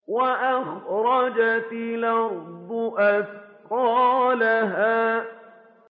وَأَخْرَجَتِ الْأَرْضُ أَثْقَالَهَا